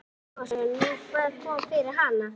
Breki Logason: Nú, hvað kom fyrir hana?